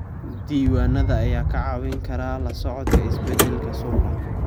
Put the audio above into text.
Diiwaanada ayaa kaa caawin kara la socodka isbeddelada suuqa.